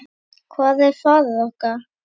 Hvar er faðir okkar?